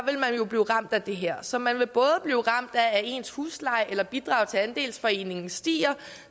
jo blive ramt af det her så man vil både blive ramt af at ens husleje eller bidrag til andelsforeningen stiger